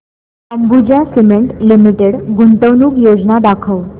Ambuja cement limited गुंतवणूक योजना दाखव